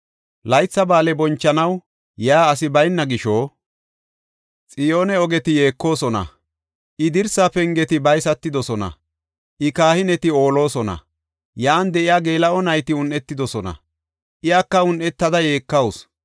Laytha ba7aale bonchanaw yaa asi bayna gisho, Xiyoone ogeti yeekosona. I dirsa pengeti baysatidosona; I kahineti oolosona. Yan de7iya geela7o nayti un7etidosona; iyaka un7etada yeekawusu.